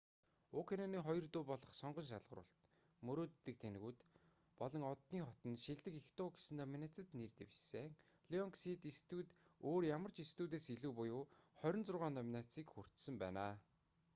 уг киноны хоёр дуу болох сонгон шалгаруулалт мөрөөддөг тэнэгүүд болон оддын хот нь шилдэг эх дуу гэсэн номинацид нэр дэвшсэн. лайонсгэйт студи өөр ямар ч студиэс илүү буюу 26 номинацийг хүртсэн байна